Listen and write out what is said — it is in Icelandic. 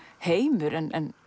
heimur en